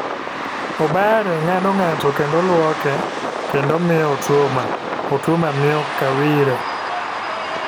Obare ng'ado ng'ato kendo luoke ,kendo miyo Otuoma ,otuoma miyo Kawire,